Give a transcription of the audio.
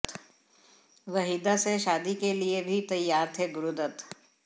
वहीदा से शादी के लिए भी तैयार थे गुरुदत्त